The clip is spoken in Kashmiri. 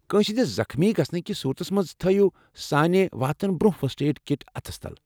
كٲنسہِ ہندِس زخمی گژھنہٕ كِس صوُرتس منز تھٲوِو سانہِ واتنہٕ برونہہ فسٹ ایڈ کِٹ اتھس تل ۔